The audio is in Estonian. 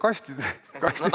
Kastide kaupa?